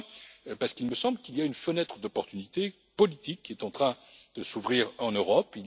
Enfin, parce qu'il me semble qu'il y a une fenêtre d'opportunité politique qui est en train de s'ouvrir en Europe.